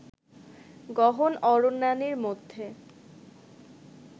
গহন অরণ্যানীর মধ্যে